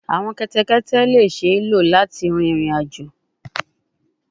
Awọn kẹtẹkẹtẹ le ṣee lo lati rin irin-ajo